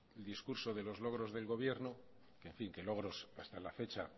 el discurso de los logros del gobierno que logros hasta la fecha